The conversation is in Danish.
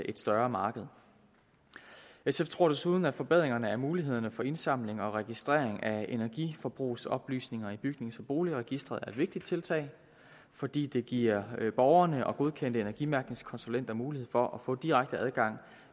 et større marked sf tror desuden at forbedringerne af mulighederne for at indsamle og registrere energiforbrugsoplysninger i bygnings og boligregistret er et vigtigt tiltag fordi det giver borgerne og godkendte energimærkningskonsulenter mulighed for at få direkte adgang